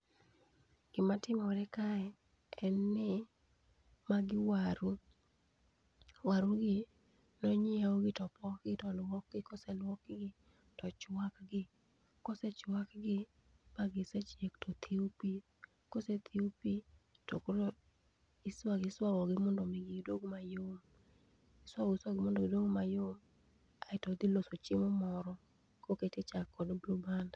Gi ma timore kae en ni magi waru. Waru gi ne onyiew gi to opok gi, to olwok gi koseklwok gi to ochwak gi. Kosechwak gi ma gi sechiek to othiw pi kosethiw pi to koro iswago iswago gi mondo mi gi dog ma yom iswago iswago mondo mi gi bed ma yom aito odhi loso chiemo moro ko oket e chak kod blue band.